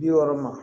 Bi wɔɔrɔ ma